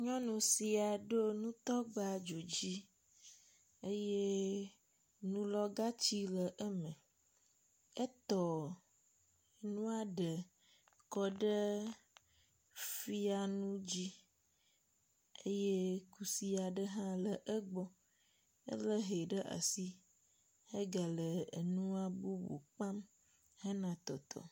Nyɔnu sia ɖo nutɔgba dzodzi eye nulɔ̃gatsi le eme. Etɔ nua ɖe lɔ ɖe nu fianu dzi eye kusi aɖe hã le egbɔ. Ele hɛ ɖe asi ega le enua bubu kpam hena tɔtɔ.